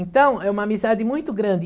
Então, é uma amizade muito grande.